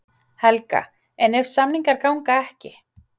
Helga: En ef samningar ganga ekki?